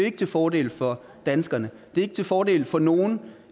ikke til fordel for danskerne det er ikke til fordel for nogen